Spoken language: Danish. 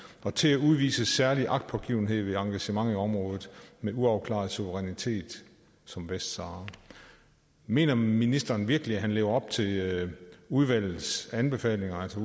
og til at udvise særlig agtpågivenhed ved engagement i områder med uafklaret suverænitet som vestsahara mener ministeren virkelig at han lever op til udvalgets anbefalinger altså